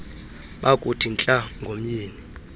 bakuthi ntla ngomyeni